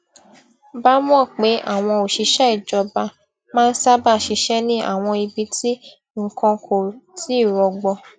bá mò pé àwọn òṣìṣé ìjọba máa n sábà ṣiṣé ní àwọn ibi tí nǹkan kò ti rọgbọ